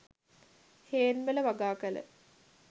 හේන්වල වගාකල